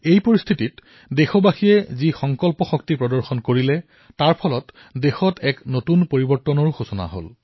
এই পৰিস্থিতি আপোনালোক দেশবাসীয়ে যি সংকল্প শক্তি প্ৰদৰ্শিত কৰিছে ইয়াৰ জৰিয়তে ভাৰতত এক নতুন পৰিৱৰ্তনৰ সূচনা হৈছে